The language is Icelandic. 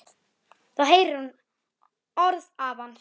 Þá heyrir hún orð afans.